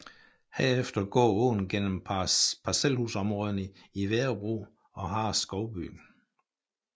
Herefter går åen gennem parcelhusområderne i Værebro og Hareskovby